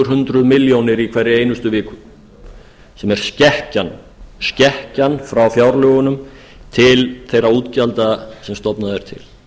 hundruð milljóna í hverri einustu viku sem er skekkja frá fjárlögunum til þeirra útgjalda sem stofnað er til